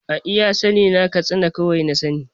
A iya sa ni na katsina kawai na sa ni